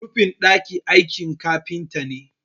rufin daki aiki kafinta ne